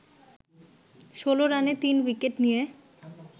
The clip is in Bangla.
১৬ রানে ৩ উইকেট নিয়ে